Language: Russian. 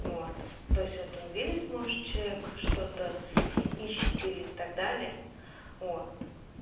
вот то есть это он видит может человек что-то ищет или так далее вот